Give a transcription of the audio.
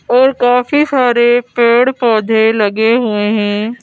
और काफी सारे पेड़-पौधे लगे हुए हैं।